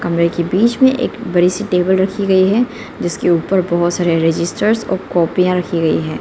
कमरे के बीच में एक बड़ी सी टेबल रखी गई है जिस के ऊपर बहुत सारे रजिस्टर और कॉपियां रखी गई है।